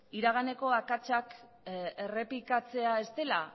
iraganeko akatsak errepikatzea ez dela